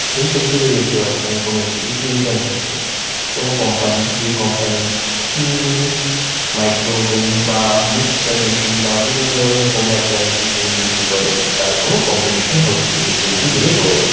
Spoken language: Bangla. এই ছবিটিতে দেখতে পারছেন কোন একটি এক্সিবিশন হচ্ছে কোন কোম্পানি যে কোম্পানি চিমনি মাইক্রোওভেন বা মিক্সার মেশিন বিভিন্ন ধরনের হোম এপ্লায়েন্স -এর জিনিস বিক্রি করে তার কোন কম্পিটিশন হচ্ছে এই ছবিটিতে দেখে বোঝা যা--